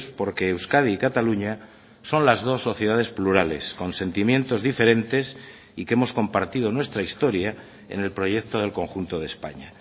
porque euskadi y cataluña son las dos sociedades plurales con sentimientos diferentes y que hemos compartido nuestra historia en el proyecto del conjunto de españa